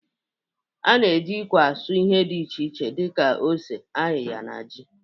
A na-eji ikwe asụ ihe dị iche iche dị ka ose, ayịya na ji.